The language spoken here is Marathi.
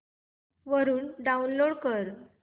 वरून डाऊनलोड कर